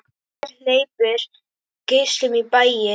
Gler hleypir geislum í bæinn.